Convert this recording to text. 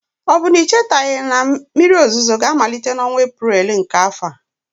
Ọ bụ na ị chetaghị na oge mmiri ozuzo ga-amalite n'ọnwa Eprel nke afọ a?